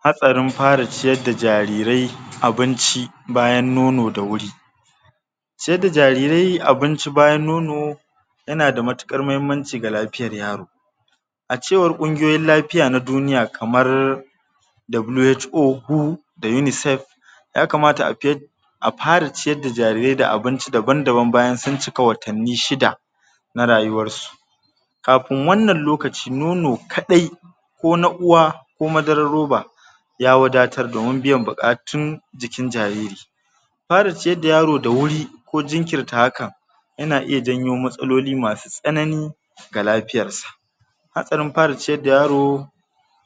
Hatsarin para ciyar da jarirai abinci bayan nono da wuri ciyar da jarirai abinci bayan nono yana da mauƙar mahimmanci ga lapiyar yaro a cewar ƙungiyoyin lapiya na duniya kamar W.H.O da UNICEF ya kamata a a para ciya da jarirai da abinci daban-daban bayan sunn cika watanni shida na rayuwar su kapun wannan lokaci nono kaɗai ko na uwa ko madarar roba ya wadatar domin biyan buƙatun jikin jariri para ciyar da yaro da wuri ko jinkirta haka yana iya janyo matsaloli masu tsanani ga lapiyar sa hatsarin para ciyar da yaro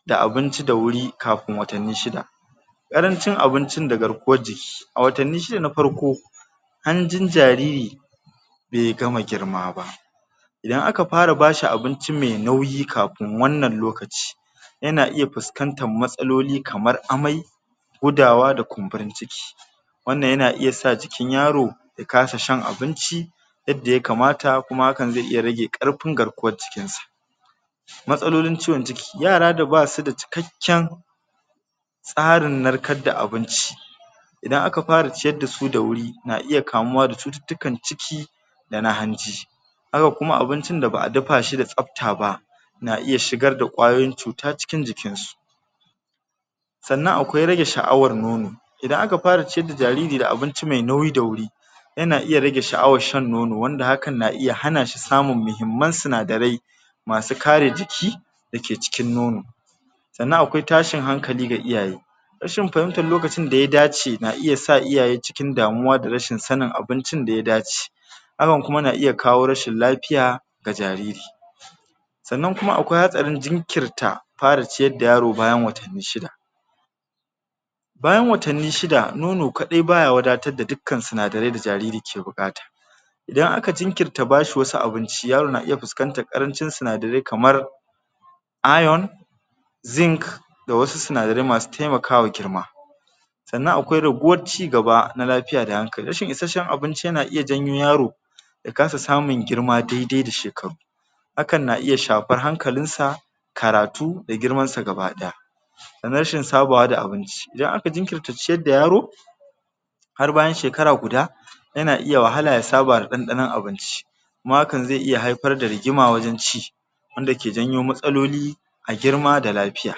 da abinci da wuri kapun watanni shida ƙarancin abuncin da garkuwaan jiki a watanni shida na parko hanjin jariri be gama girma ba idan aka para bashi abunci mai nauyi kapun wannan lokaci yana iya puskantan matsaloli kamar amai gudawa da kumburin ciki wannan yana iya sa jikin yaro ya kasa sahn abunci yadda ya kamata kuma hakan ze iya rage ƙarpin garkuwar jikinsa matsalolin ciwon ciki yara da basu da cikakken tsarin narkad da abunci idan aka para ciyar da su da wuri na iya kamuwa da cututtukan ciki da na hanji haka kuma abuncin da ba a dapa shi da tsapta ba na iya shigar da ƙwayoyin cuta cikin jikin su sannan akwai rage sha'awan nono idan aka para ciyar da jariri da abunci me nauyi da wuri yana iya rage sha'awan sahn nono wanda hakan na iya hana shi samun mihimman sinadarai masu kare jiki da ke cikin nono sannan akwai tashin hankali ga iyaye rashin pahimtan lokacin da ya dace na iya sa iyaye damuwa da rashin sanin abuncin da ya dace hakan na iya kawo rashin lapiya ga jariri sannan kuma akwai hatsarin jinkirta para ciyar da yaro bayan watanni shida bayan watanni shida nono kaɗai baya wadatad da dukkan sinadarai da jariri ke buƙata idan aka jinkirta ba shi wasu abunci yaro na iya puskantar ƙarancin sinadarai kamar da wasu sinadarai masu taimakawa girma sannan akwai raguwar cigaba na lapiya da hankali rashin isasshen abunci yana iya janyo yaro ya kasa samun girma daidai da shekaru hakan na iya shapar hankalinsa karatu da girmansa gaba ɗaya sannan rashin sabawa da abunci idan aka jinkirta ciyad da yaro har bayan shekara guda yana iya wahala ya saba da ɗanɗanon abunci ma hakan ze iya haipar da rigima a wajen ci wanda ke janyo matsaloli a girma da lapiya.